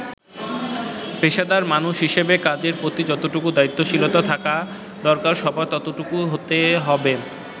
“পেশাদার মানুষ হিসেবে কাজের প্রতি যতটুকু দায়িত্বশীলতা থাকা দরকার সবার ততটুকু হতে হবে।